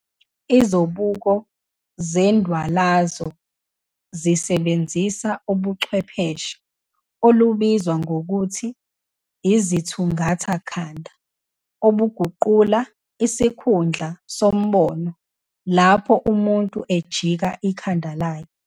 Izobuko zendwalazo zisebenzisa ubuchwepheshe olubizwa ngokuthi izithungatha khanda, obuguqula isikhundla sombono lapho umuntu ejika ikhanda lakhe.